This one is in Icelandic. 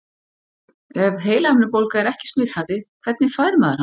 Ef heilahimnubólga er ekki smitandi, hvernig fær maður hana þá?